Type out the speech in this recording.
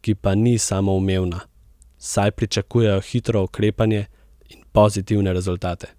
ki pa ni samoumevna, saj pričakujejo hitro ukrepanje in pozitivne rezultate.